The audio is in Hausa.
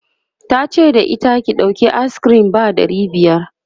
tace da ita," ki ɗauki ayis kirim ba ɗari biyar!'